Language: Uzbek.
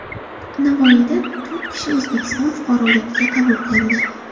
Navoiyda to‘rt kishi O‘zbekiston fuqaroligiga qabul qilindi.